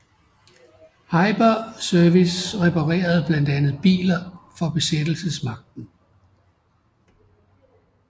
Heiber Service reparerede blandt andet biler for besættelsesmagten